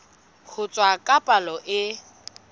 ho tshwasa ka palo e